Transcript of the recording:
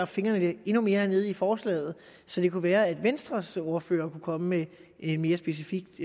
fingrene endnu mere nede i forslaget så det kunne være venstres ordfører kunne komme med et mere specifikt